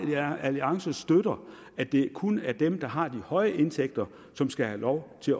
liberal alliance støtter at det kun er dem der har de høje indtægter som skal have lov til